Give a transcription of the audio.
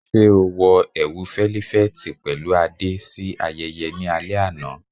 Ṣe o wọ ẹwu felifeti pẹlu ade si ayẹyẹ ni alẹ ana?